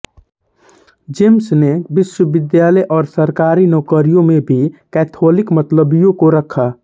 James ने विश्वविद्यालय और सरकारी नौकरियों में भी कैथोलिक मताबलम्बियों को रखा